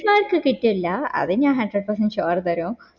മാക്ക് കിട്ടില്ല അത് ഞാൻ hundred percent sure തരൂ